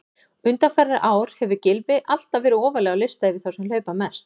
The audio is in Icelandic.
Undanfarin ár hefur Gylfi alltaf verið ofarlega á lista yfir þá sem hlaupa mest.